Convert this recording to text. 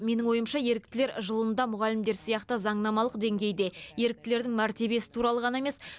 менің ойымша еріктілер жылында мұғалімдер сияқты заңнамалық деңгейде еріктілердің мәртебесі туралы ғана емес